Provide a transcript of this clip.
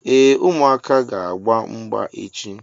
Ee, ụmụaka ga agba mgba echi